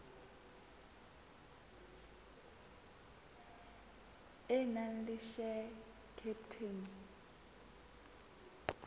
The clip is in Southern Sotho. e nang le share capital